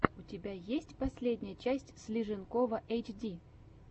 у тебя есть последняя часть слиженкова эйчди